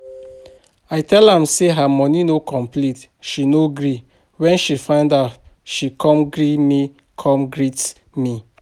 I tell am say her money no complete she no gree, wen she find out she come greet me come greet me